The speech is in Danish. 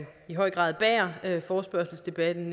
i høj grad bærer forespørgselsdebatten